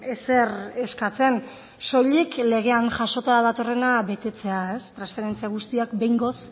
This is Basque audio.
ezer eskatzen soilik legean jasota datorrena betetzea transferentzia guztiak behingoz